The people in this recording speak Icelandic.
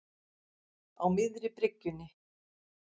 Á miðri bryggjunni.